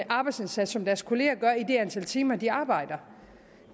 arbejdsindsats som deres kollegaer gør i det antal timer de arbejder